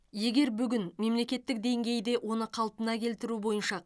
егер бүгін мемлекеттік деңгейде оны қалпына келтіру бойынша